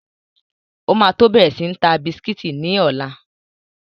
O ma tó bẹ̀rẹ̀ sí ń ta bisikítì ní ọ̀la.